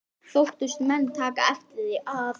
Þóttust menn taka eftir því, að